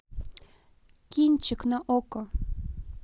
кинчик на окко